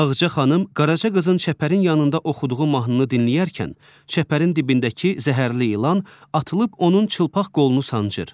Ağca xanım Qaraca qızın çəpərin yanında oxuduğu mahnını dinlərkən, çəpərin dibindəki zəhərli ilan atılıb onun çılpaq qolunu sancır.